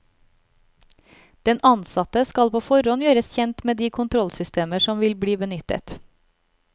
Den ansatte skal på forhånd gjøres kjent med de kontrollsystemer som vil bli benyttet.